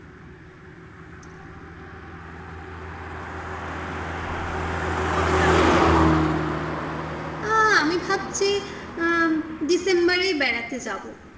কবে যাবে বলো? আঃ আমি ভাবছি ডিসেম্বরই বেড়াতে যাবো।